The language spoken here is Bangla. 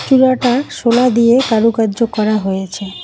চূড়াটা শোলা দিয়ে কারুকার্য করা হয়েছে।